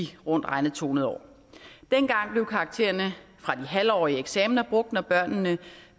rundt regnet to hundrede år dengang blev karaktererne fra de halvårige eksamener brugt når børnenes